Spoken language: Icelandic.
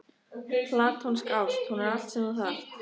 Platónsk ást: hún er allt sem þú þarft.